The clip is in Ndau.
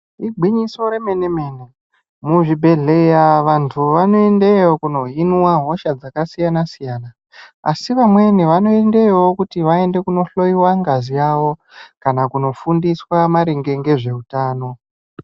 Igwinyiso remenemene muzvibhehlera vanhu vanoendayo kundihinwa hosha dzakasiyana siyana asi vamweniwo vanoendayowo kundohloiwa ngazi yavo kana kundofundiswa maringe nezveutano